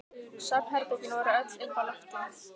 Svefnherbergin voru öll uppi á lofti.